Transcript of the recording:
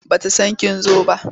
Ba ta san kin zo ba.